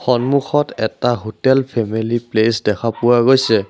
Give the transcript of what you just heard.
সন্মুখত এটা hotel family place দেখা গৈছে।